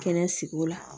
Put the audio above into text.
Kɛnɛ sigi o la